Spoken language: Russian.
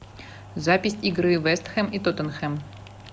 запись игры вест хэм и тоттенхэм